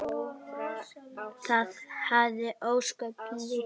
Það hafði ósköp lítil áhrif.